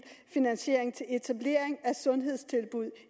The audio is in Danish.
finansiering til etablering af sundhedstilbud